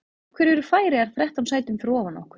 Af hverju eru Færeyjar þrettán sætum fyrir ofan okkur?